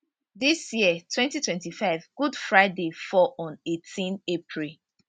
dis year twenty twenty five good friday fall on eighteen april